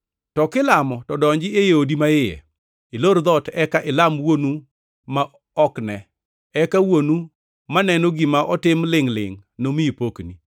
To kilamo to donji e odi maiye, ilor dhoot eka ilam Wuonu ma ok ne. Eka Wuonu maneno gima otim lingʼ-lingʼ nomiyi pokni.